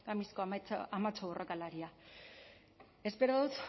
amatxo borrokalaria espero dut